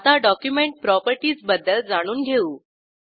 आता document properties बद्दल जाणून घेऊ